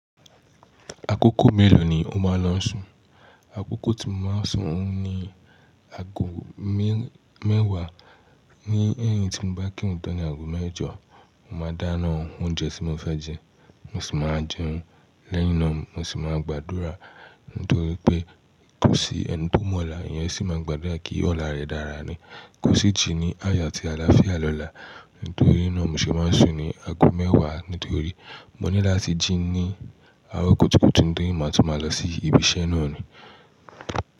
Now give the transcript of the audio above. Àkókò mẹ́lò ni o máa ń lọ sùn? Àkókò tí mo máa ń sùn òhun ni aago mẹ́wàá, ní ẹ̀yin tí mo bá kírun tán ní aago mẹ́jọ, mo máa dáná oúnjẹ tí mo fẹ́ jẹ, mo sì máa jẹun. Lẹ́yìn náà mo sì máa gbàdúrà, nítorí pé tó sí ẹni tó mọlà, èyàn sì máa gbàdúrà kí ọ̀la rẹ̀ dára ni. Kosi ji ní ayọ̀ àti àlàáfíà lọlá. Nítorí náà mo ṣe máa ń sùn ní aago mẹ́wàá, nítorí mo ní láti jí ní àárọ̀ kùtùkùtù nítorí màa tún má lọ sí ibi iṣẹ́ náà ni.